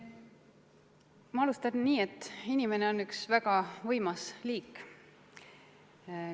Ma alustan nii, et inimene on üks väga võimas liik.